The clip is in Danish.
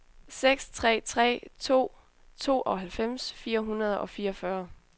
seks tre tre to tooghalvfems fire hundrede og fireogfyrre